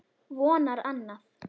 Vonar annað.